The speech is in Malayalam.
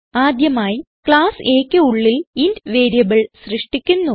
ആദ്യമായി ക്ലാസ് Aക്ക് ഉള്ളിൽ ഇന്റ് വേരിയബിൾ സൃഷ്ടിക്കുന്നു